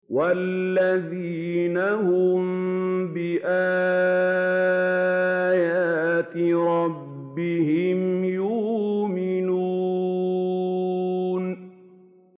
وَالَّذِينَ هُم بِآيَاتِ رَبِّهِمْ يُؤْمِنُونَ